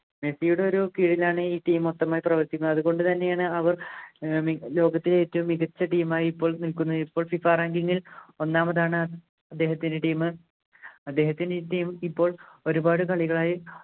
മെസ്സിയുടെ ഒരു കീഴിലാണ് ഈ team മൊത്തം പ്രവർത്തിക്കുന്നത് തുകൊണ്ടു തന്നെയാണ് അവർ ഏർ മി ലോകത്തിലെ മികച്ച team ആയി ഇപ്പോൾ നിൽക്കുന്നത് ഇപ്പോൾ FIFAranking ൽ ഒന്നാമതാണ് അദ്ദേഹത്തിൻ്റെ team അദ്ദേഹത്തിൻ്റെ team ഇപ്പോൾ ഒരുപാട് കളികളായി